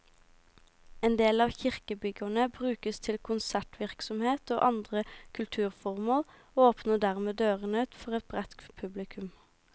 En del av kirkebyggene brukes til konsertvirksomhet og andre kulturformål, og åpner dermed dørene for et bredt publikum.